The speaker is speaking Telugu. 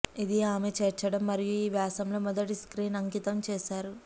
ఇది ఆమె చేర్చడం మరియు ఈ వ్యాసంలో మొదటి స్క్రీన్ అంకితం చేశారు